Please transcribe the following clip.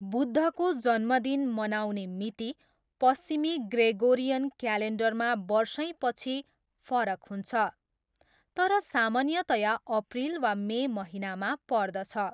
बुद्धको जन्मदिन मनाउने मिति पश्चिमी ग्रेगोरियन क्यालेन्डरमा वर्षैपछि फरक हुन्छ तर सामान्यतया अप्रिल वा मे महिनामा पर्दछ।